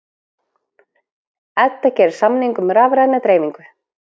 Edda gerir samning um rafræna dreifingu